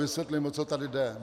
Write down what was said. Vysvětlím, o co tady jde.